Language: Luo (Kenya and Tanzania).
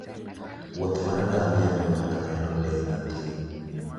wuoth mar ngamia miyo ng'ato neno le mag thim.